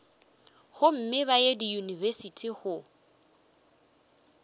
gomme ba ye diyunibesithi go